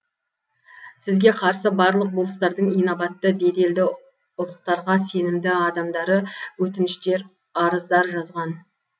сізге қарсы барлық болыстардың инабатты беделді ұлықтарға сенімді адамдары өтініштер арыздар жазған